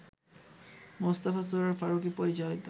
মোস্তফা সরয়ার ফারুকী পরিচালিত